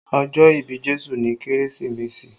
Ọjọ́ ìbí Jésù ni Kérésìmesì